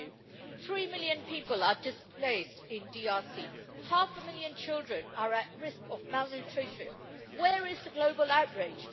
Firstly, three million people are displaced in the DRC, half a million children are at risk of malnutrition, where is the global outrage?